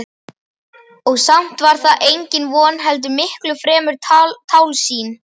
Og samt var það engin von heldur miklu fremur tálsýn.